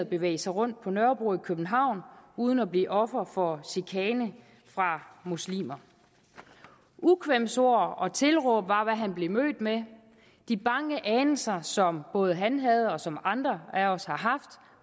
bevæge sig rundt på nørrebro i københavn uden at blive offer for chikane fra muslimer ukvemsord og tilråb var hvad han blev mødt med de bange anelser som både han havde og som andre af os har haft